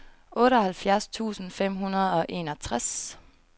otteoghalvfjerds tusind fem hundrede og enogtres